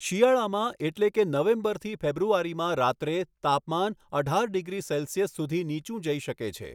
શિયાળામાં એટલે કે નવેમ્બર થી ફેબ્રુઆરીમાં રાત્રે તાપમાન અઢાર ડિગ્રી સેલ્સિયસ સુધી નીચું જઈ શકે છે.